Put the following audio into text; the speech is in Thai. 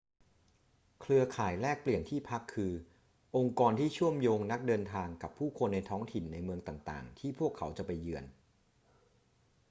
เครือข่ายแลกเปลี่ยนที่พัก คือองค์กรที่เชื่อมโยงนักเดินทางกับผู้คนในท้องถิ่นในเมืองต่าง ๆ ที่พวกเขาจะไปเยือน